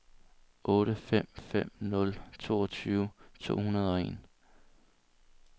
otte fem fem nul toogtyve to hundrede og en